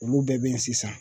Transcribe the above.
Olu bɛɛ bɛ yen sisan